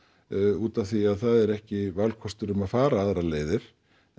út af því að það er ekki valkostur um að fara aðrar leiðir